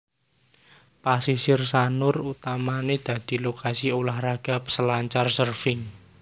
Pasisir Sanur utamané dadi lokasi ulah raga selancar surfing